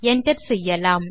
enter செய்யலாம்